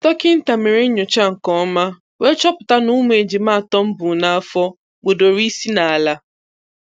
Dọkịta mere nnyocha nke ọma, wee chọpụta na ụmụ ejima atọ m bu n'afọ kpọdoro isi n'ala.